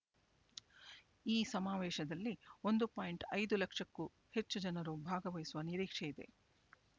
ಈ ಸಮಾವೇಶದಲ್ಲಿ ಒಂದು ಪಾಯಿಂಟ್ ಐದು ಲಕ್ಷಕ್ಕೂ ಹೆಚ್ಚು ಜನರು ಭಾಗವಹಿಸುವ ನಿರೀಕ್ಷೆಯಿದೆ